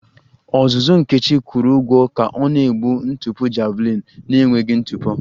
Ọzụzụ Nkechi kwụrụ ụgwọ ka ọ na-egbu ntụpọ javelin na-enweghị ntụpọ